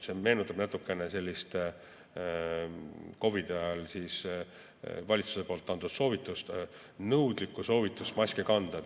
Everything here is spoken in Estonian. See meenutab natukene COVID-i ajal valitsuse antud nõudlikku soovitust maski kanda.